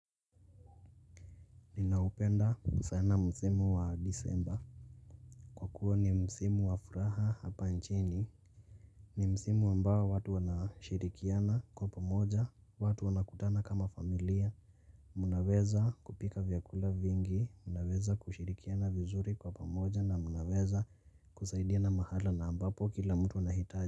Naupenda sana msimu wa disemba. Kwa kuwa ni msimu wa furaha hapa nchini. Ni msimu ambao watu wanashirikiana kwa pamoja, watu wanakutana kama familia. Mnaweza kupika vyakula vingi, mnaweza kushirikiana vizuri kwa pamoja na mnaweza kusaidia na mahala na ambapo kila mtu wanahitaji.